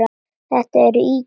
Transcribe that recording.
Þetta eru ýkjur!